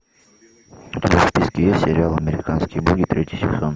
у тебя в списке есть сериал американские боги третий сезон